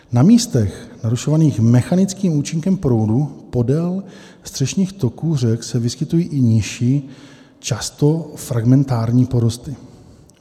Na místech narušovaných mechanickým účinkem proudu podél středních toků řek se vyskytují i nižší, často fragmentární porosty.